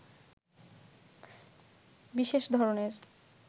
বিশেষ ধরনের